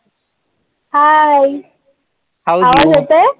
Hi आवाज येतोय